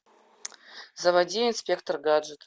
заводи инспектор гаджет